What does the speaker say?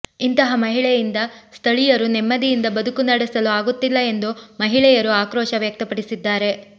ಇಂತಹ ಮಹಿಳೆಯಿಂದ ಸ್ಥಳೀಯರು ನೆಮ್ಮದಿಯಿಂದ ಬದುಕು ನಡೆಸಲು ಆಗುತ್ತಿಲ್ಲ ಎಂದು ಮಹಿಳೆಯರು ಆಕ್ರೋಶ ವ್ಯಕ್ತಪಡಿಸಿದ್ದಾರೆ